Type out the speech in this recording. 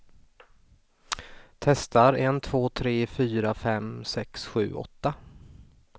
Testar en två tre fyra fem sex sju åtta.